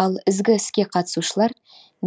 ал ізгі іске қатысушылар